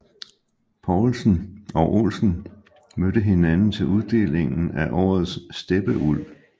Poulsen og Olsen mødte hinanden til uddelingen af Årets Steppeulv